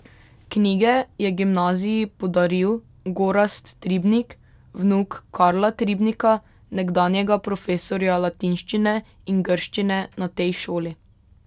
Knjige je gimnaziji podaril Gorazd Tribnik, vnuk Karla Tribnika, nekdanjega profesorja latinščine in grščine na tej šoli.